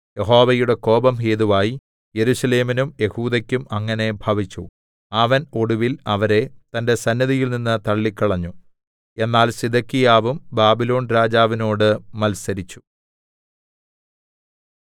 യഹോവയുടെ കോപം ഹേതുവായി യെരൂശലേമിനും യെഹൂദെക്കും അങ്ങനെ ഭവിച്ചു അവൻ ഒടുവിൽ അവരെ തന്റെ സന്നിധിയിൽനിന്ന് തള്ളിക്കളഞ്ഞു എന്നാൽ സിദെക്കീയാവും ബാബിലോൺരാജാവിനോട് മത്സരിച്ചു